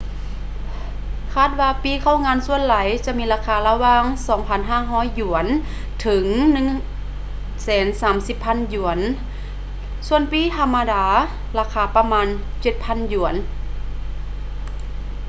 ຄາດວ່າປີ້ເຂົ້າງານສ່ວນຫຼາຍຈະມີລາຄາລະຫວ່າງ ¥2,500 ເຖິງ ¥130,000 ສ່ວນປີ້ທຳມະດາລາຄາປະມານ ¥7,000